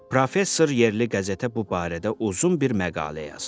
Professor yerli qəzetə bu barədə uzun bir məqalə yazdı.